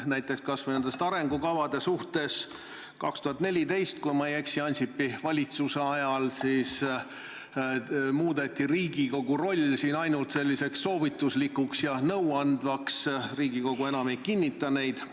Näiteks kas või need arengukavad, 2014, kui ma ei eksi, Ansipi valitsuse ajal muudeti Riigikogu roll siin ainult soovituslikuks ja nõuandvaks, Riigikogu enam ei kinnita neid.